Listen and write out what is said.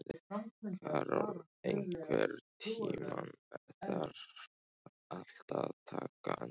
Karol, einhvern tímann þarf allt að taka enda.